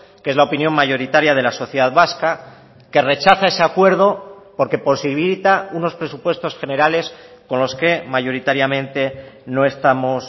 que es la opinión mayoritaria de la sociedad vasca que rechaza ese acuerdo porque posibilita unos presupuestos generales con los que mayoritariamente no estamos